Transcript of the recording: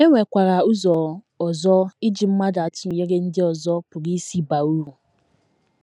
E nwekwara ụzọ ọzọ iji mmadụ atụnyere ndị ọzọ pụrụ isi baa uru.